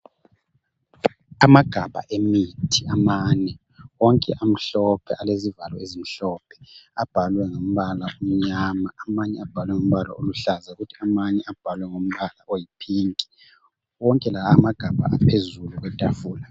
Amagabha emithi amane onke amhlophe alezivalo ezimhlophe abhalwe ngembala emnyama. Amanye abhalwe ngembala eluhlaza kuthi amanye abhalwe ngombala oyiphinki. Wonke la amagabha aphezulu kwetafula.